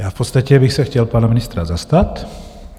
Já v podstatě bych se chtěl pana ministra zastat.